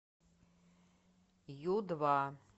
ю два